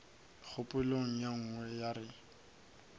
kgopolo ye nngwe ya re